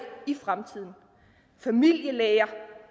i fremtiden familielæger